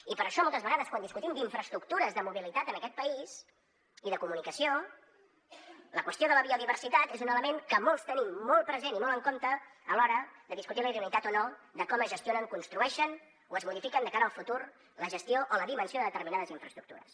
i per això moltes vegades quan discutim d’infraestructures de mobilitat en aquest país i de comunicació la qüestió de la biodiversitat és un element que molts tenim molt present i molt en compte a l’hora de discutir la idoneïtat o no de com es gestionen construeixen o es modifiquen de cara al futur la gestió o la dimensió de determinades infraestructures